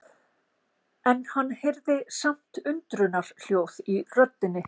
En hann heyrði samt undrunarhljóð í röddinni.